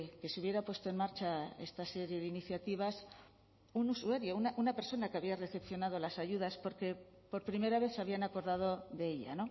que se hubiera puesto en marcha esta serie de iniciativas un usuario una persona que había recepcionado las ayudas porque por primera vez se habían acordado de ella